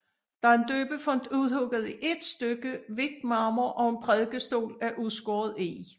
Der er en døbefont udhugget i ét stykke hvidt marmor og en prædikestol af udskåret eg